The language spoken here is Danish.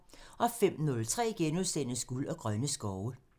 05:03: Guld og grønne skove *(tir)